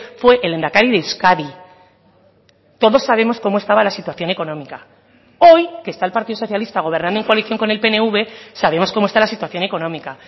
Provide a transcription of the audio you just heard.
fue el lehendakari de euskadi todos sabemos cómo estaba la situación económica hoy que está el partido socialista gobernando en coalición con el pnv sabemos cómo está la situación económica